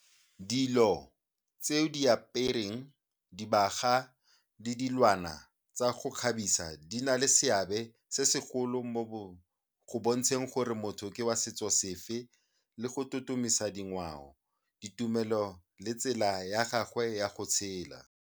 Dilo tse o di apereng, dibaga le dilwana tsa go kgabisa di na le seabe se segolo mo go bontsheng gore motho ke wa setso sefe le go totomisa dingwao, ditumelo le tsela ya gagwe ya go tshela.